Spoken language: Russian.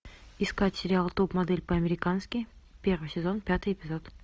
искать сериал топ модель по американски первый сезон пятый эпизод